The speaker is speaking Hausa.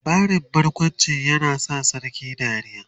labarin barkawncin ya sa sarkin dariya?